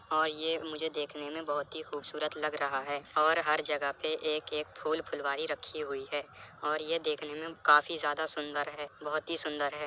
और ये मुझे देखने में बहुत ही खूबसूरत लग रहा है और हर जगह पे एक एक फूल फुलवारी रखी हुई है और ये देखने में काफी ज्यादा सुन्दर है बहुत ही सुन्दर है।